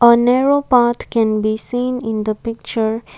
a narrow path can be seen in the picture.